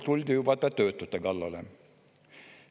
Tuldi juba töötute kallale.